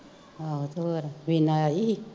ਆਹੋ ਤੇ ਹੋਰ ਵੀਨਾ ਆਈ ਸੀ